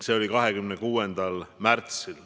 See oli 26. märtsil.